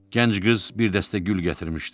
Gənc qız bir dəstə gül gətirmişdi.